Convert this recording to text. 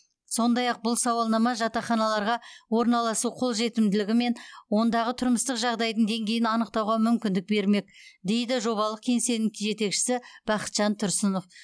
сондай ақ бұл сауалнама жатақханаларға орналасу қолжетімділігі мен ондағы тұрмыстық жағдайдың деңгейін анықтауға мүмкіндік бермек дейді жобалық кеңсенің жетекшісі бақытжан тұрсынов